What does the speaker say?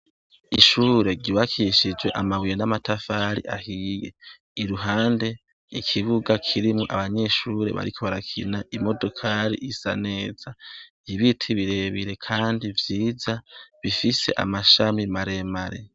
Ishure ryubakishijwe amabuye n'amatafari ahiye, iruhande ikibuga kirimwo abanyeshure bariko barakina, imodokari isa neza ibiti birebire kandi vyiza bifise amashami maremare.